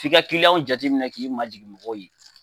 T'i ka kiliyanw jateminɛ k'i majigin mɔgɔw ye.